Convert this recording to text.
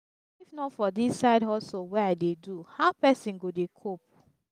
if not for dis side hustle wey i dey do how person go dey cope